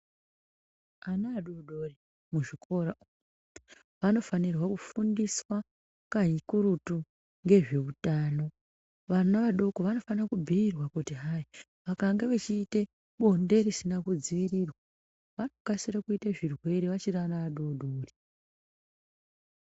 Ana adodori muzvikora vanofanirwa kufundiswa kakurutu ngezveutano , vana vadoko vanofanira kubhirwa kuti hai vakange veichiite blonde risina kudzivirirwa vnokasire kuite zvirwere vachiri ana adodori.